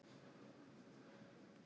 Áætlunarferðir felldar niður